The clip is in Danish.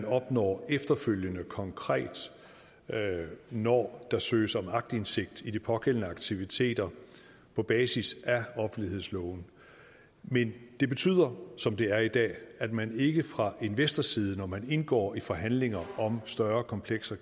opnår efterfølgende konkret når der søges om aktindsigt i de pågældende aktiviteter på basis af offentlighedsloven men det betyder som det er i dag at man ikke fra investorsiden når man indgår i forhandlinger om større komplekser